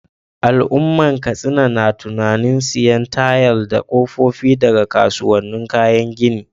Al’ummar Katsina na tunanin sayen tayal da kofofin daga kasuwannin kayan gini.